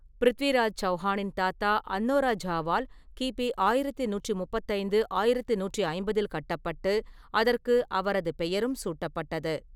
பிருத்விராஜ் சவுஹானின் தாத்தா அன்நோராஜாவால் கி. பி. ஆயிரத்தி நூற்று முப்பத்தைந்து, ஆயிரத்தி நூற்று ஐம்பதில் கட்டப்பட்டு அதற்கு அவரது பெயரும் சூட்டப்பட்டது.